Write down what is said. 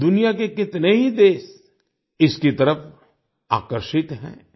दुनिया के कितने ही देश इसकी तरफ आकर्षित हैं